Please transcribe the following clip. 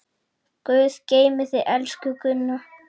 Guð geymi þig, elsku Gunna.